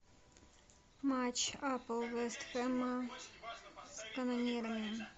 матч апл вест хэма с канонирами